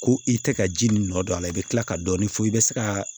Ko i tɛ ka ji nin nɔ don a la i bɛ tila ka dɔɔnin fɔ i bɛ se ka